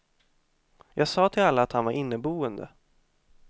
Jag sa till alla att han var inneboende.